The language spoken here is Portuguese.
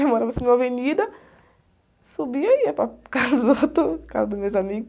Eu morava assim numa avenida, subia e ia para casa do outro, casa dos meus amigos.